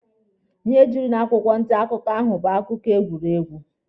Ihe juru n'akwụkwọ nta akụkọ ahụ bụ akụkọ egwuregwu.